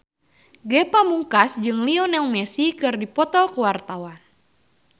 Ge Pamungkas jeung Lionel Messi keur dipoto ku wartawan